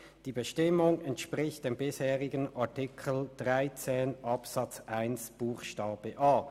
«Die Bestimmung entspricht dem bisherigen Artikel 13 Absatz 1 Buchstabe a.